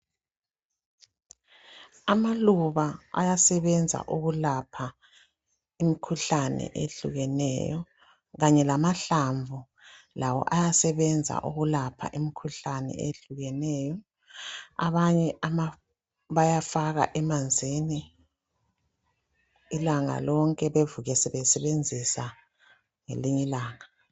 Amaluba ayasebenza ukulapha imkhuhlane ehlukeneyo kanye lamahlamvu lawo ayasebenza ukulapha imkhuhlane ehlukeneyo , abanye bayafaka emanzini ilanga lonke bevuke sebesebenzisa ngezinye ilanga